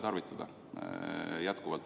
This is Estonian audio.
Jätkuvalt!